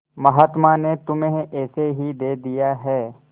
महात्मा ने तुम्हें ऐसे ही दे दिया है